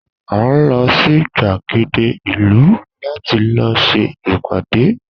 A n lo sí gbàgéde ìlú láti lọ ṣe ìpàdé